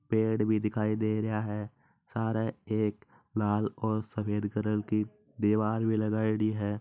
पेड़ भी दिखाई दे रहा है सारे एक लाल और सफेद कलर की दिवार भी लगायेड़ी है।